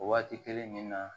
O waati kelen nin na